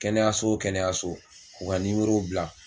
Kɛnɛyaso wo kɛnɛyaso k'u ka bila.